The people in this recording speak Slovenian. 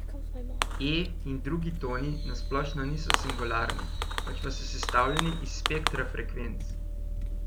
E in drugi toni na splošno niso singularni, pač pa so sestavljeni iz spektra frekvenc.